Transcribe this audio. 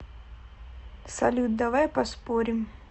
салют давай поспорим